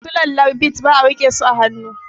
Sulallar bit ba a rike su a hannu